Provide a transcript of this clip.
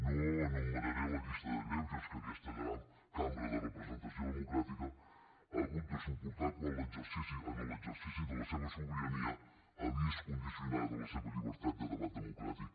no enumeraré la llista de greuges que aquesta cambra de representació democràtica ha hagut de suportar quan en l’exercici de la seva sobirania ha vist condicionada la seva llibertat de debat democràtic